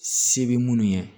Se bɛ minnu ye